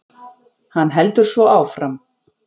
Hann heldur svo áfram